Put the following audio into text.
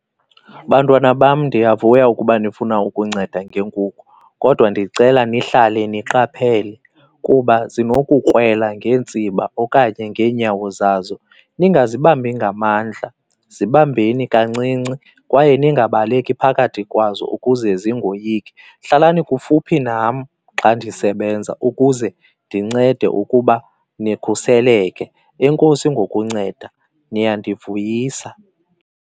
Bantwana bam, ndiyavuya ukuba nifuna ukunceda ngeenkukhu kodwa ndicela nihlale niqaphele kuba zinokukrwela ngeentsiba okanye ngeenyawo zazo. Ningazibambi ngamandla, zibambeni kancinci kwaye ningabaleki phakathi kwazo ukuze zingoyiki. Hlalani kufuphi nam xa ndisebenza ukuze ndincede ukuba nikhuseleke. Enkosi ngokunceda, niyandivuyisa.